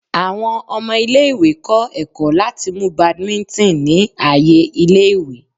Awọn ọmọ ile-iwe kọ ẹkọ lati mu badminton ni aaye ile-iwe